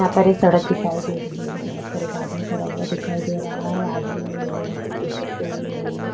यहाँ पर एक सड़क दिखाई दे रही है सड़क पर एक आदमी खड़ा हुआ दिखाई दे रहा है आदमी ने नीले रंग की टी-शर्ट पहनी हुई है।